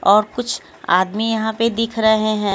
और कुछ आदमी यहाँ पे दिख रहे हैं।